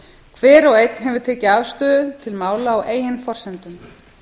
hver og einn hefur tekið afstöðu til mála á eigin forsendum